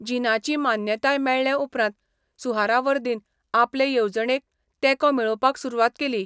जिनाची मान्यताय मेळ्ळेउपरांत सुहरावर्दीन आपले येवजणेक तेंको मेळोवपाक सुरवात केली.